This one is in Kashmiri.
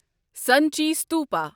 سانچہ ستوپا